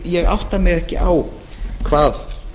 ég átta mig ekki á hvað